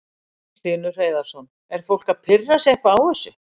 Magnús Hlynur Hreiðarsson: Er fólk að pirra sig eitthvað á þessu?